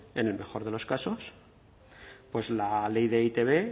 en el mejor de los casos pues la ley de e i te be